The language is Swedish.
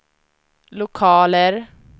lokaler